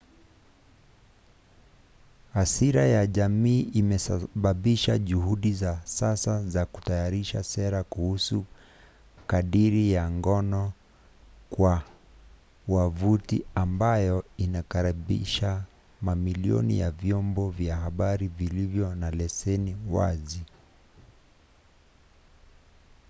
hasira ya jamii imesababisha juhudi za sasa za kutayarisha sera kuhusu kadiri ya ngono kwa wavuti ambayo inakaribisha mamilioni ya vyombo vya habari vilivyo na leseni wazi